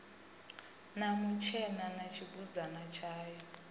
na mutshena na tshibudzana tshayo